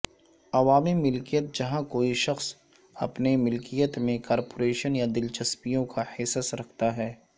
عوامی ملکیت جہاں کوئی شخص اپنے ملکیت میں کارپوریشن یا دلچسپیوں کا حصص رکھتا ہے